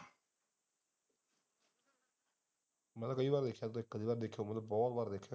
ਮੈ ਤੇ ਕਈ ਵਾਰ ਵੇਖਿਆ ਕਈ ਵਾਰ ਵੇਖਿਆ ਬਹੁਤ ਵਾਰ ਵੇਖਿਆ।